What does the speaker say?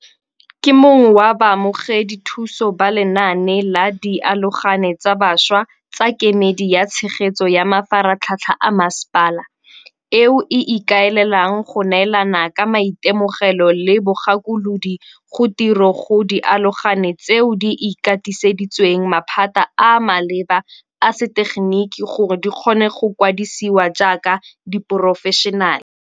Ke mongwe wa baamogedi thuso ba lenaane la Dialogane tsa Bašwa tsa Kemedi ya Tshegetso ya Mafaratlhatlha a Mmasepala, MISA, eo e ikaelelang go neelana ka maitemogelo le bogakolodi go tiro go diaologane tseo di ikatiseditsweng maphata a a maleba a setegeniki gore di kgone go kwadisiwa jaaka diporofešenale.